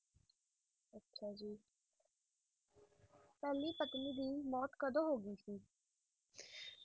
ਪਹਿਲੀ ਪਤਨੀ ਦੀ ਮੌਤ ਕਦੋਂ ਹੋਗਈ ਸੀ